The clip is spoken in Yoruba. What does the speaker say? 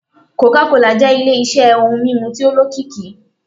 coca cola jẹ́ ile-iṣẹ́ ohun mímu tí ó lókìkí.